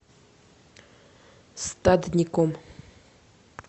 стадником